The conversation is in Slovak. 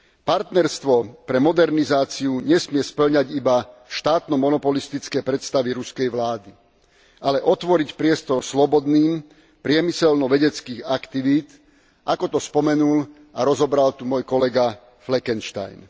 Partnerstvo pre modernizáciu nesmie spĺňať iba štátno monopolistické predstavy ruskej vlády, ale otvoriť priestor slobodným, priemyselno vedeckým aktivitám, ako to spomenul a rozobral tu môj kolega Fleckenstein.